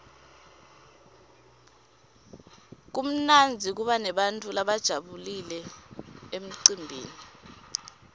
kumnandzi kuba nebantfu labajabulile emcimbini